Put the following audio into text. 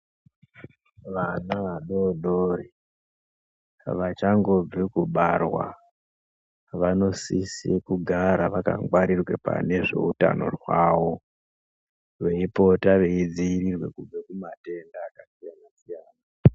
Vana vadodori, vachangobve kubarwa vanosisee kugara vakangwarirwa pane zveutano zvavo, veipota veidzivirirwa kubve kumatenda akasiyana siyana.